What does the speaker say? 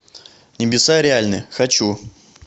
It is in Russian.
небеса реальны хочу